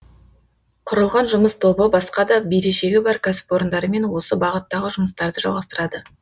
құрылған жұмыс тобы басқа да берешегі бар кәсіпорындармен осы бағыттағы жұмыстарды жалғастырады